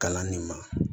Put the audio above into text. Kalan nin ma